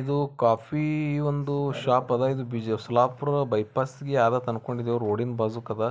ಇದು ಕಾಫಿ ಒಂದು ಶಾಪ ಅದ ಇದು ಬಿಜಾ ಸೋಲಾಪುರ ಬೈಪಾಸ್ ಅನ್ಕೊಂಡಿದಿವಿ ರೋಡಿನ್ ಬಾಜುಕ್ ಅದ.